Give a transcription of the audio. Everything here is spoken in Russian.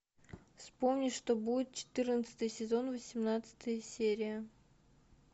вспомни что будет четырнадцатый сезон восемнадцатая серия